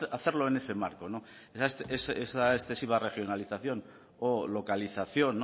hacerlo en ese marco no esa excesiva regionalización o localización